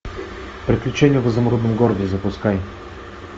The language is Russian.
приключения в изумрудном городе запускай